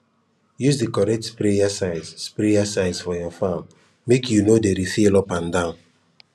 use the correct sprayer size for sprayer size for your farm make you no dey refill up and down